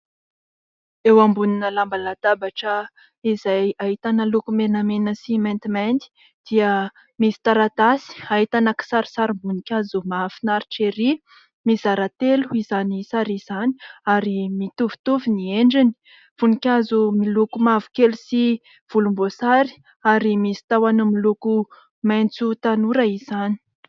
Eo ambonina lamba latabatra izay ahitana loko menamena sy maintimainty dia misy taratasy ahitana kisarisarim-boninkazo mahafinaritra, mizara telo izany sary izany ary mitovitovy ny endriny voninkazo, miloko mavokely sy volomboasary ary misy tahony miloko maitso tanora izany.